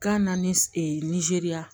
Gan na ni e nizeriya